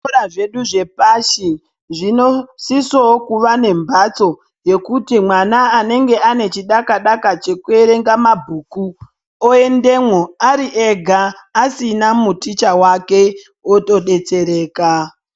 Zvikora zvedu zvepashi zvinosisawo kuva nembatso yekuti mwana anenge ane chidaka-daka chekuverenga mabhuku oendemwo ari ega asina muticha wake otodetsereka.